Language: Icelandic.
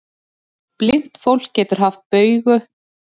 Blint fólk getur haft bauga undir augum líkt og aðrir.